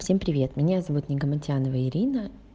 всем привет меня зовут нигаматьянова ирина